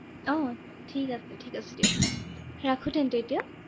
আহ ঠিক আছে ঠিক আছে দিয়ক। ৰাখো তেন্তে এতিয়া।